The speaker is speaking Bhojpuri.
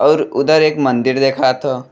और उधर एक मंदिर देखात ह।